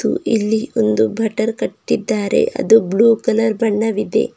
ಮತ್ತು ಇಲ್ಲಿ ಒಂದು ಬಟರ್ ಕಟ್ಟಿದ್ದಾರೆ ಅದು ಬ್ಲೂ ಕಲರ್ ಬಣ್ಣವಿದೆ.